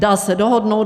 Dá se dohodnout.